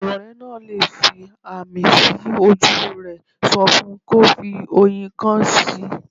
Irorẹ́ náà le fi ààmì sí ojú rẹ̀, sọ fun kò fi oyin ìgàn sí.